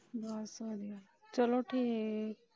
ਬਸ ਵਧੀਆ ਚਲੋ ਠੀਕ।